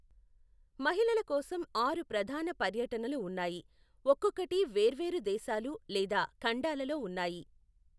మహిళల కోసం ఆరు ప్రధాన పర్యటనలు ఉన్నాయి, ఒక్కొక్కటి వేర్వేరు దేశాలు లేదా ఖండాలలో ఉన్నాయి.